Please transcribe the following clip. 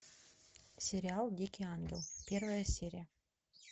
сериал дикий ангел первая серия